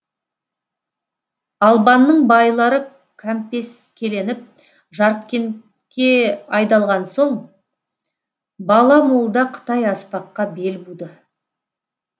албанның байлары кәмпескеленіп жаркентке айдалған соң бала молда қытай аспаққа бел буды